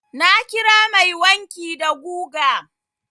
Na kira mai wanki da guga.